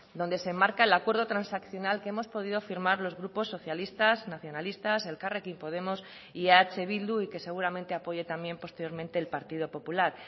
donde se marca el acuerdo transaccional que hemos podido firmar los grupos socialistas nacionalistas elkarrekin podemos y eh bildu y que seguramente apoye también posteriormente el partido popular